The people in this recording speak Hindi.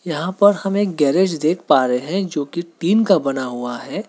यहां पर हम एक गैरेज देख पा रहे हैं जोकि टीन का बना हुआ है।